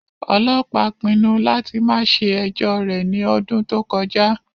Ọlọpa pinnu lati ma ṣe ẹjọ rẹ ni ọdun to kọja